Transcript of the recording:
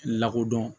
Lakodɔn